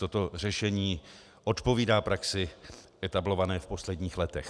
Toto řešení odpovídá praxi etablované v posledních letech.